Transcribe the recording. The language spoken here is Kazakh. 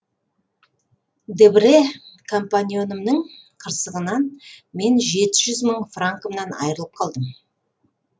дебрэ компаньонымның қырсығынан мен жеті жүз мың франкымнан айырылып қалдым